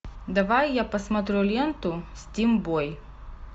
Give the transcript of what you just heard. давай я посмотрю ленту стимбой